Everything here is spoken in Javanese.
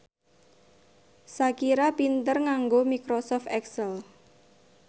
Shakira pinter nganggo microsoft excel